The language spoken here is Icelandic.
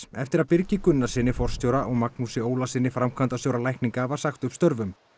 eftir að Birgi Gunnarssyni forstjóra og Magnúsi Ólasyni framkvæmdastjóra lækninga var sagt upp störfum